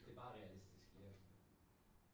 Det bare realistisk ja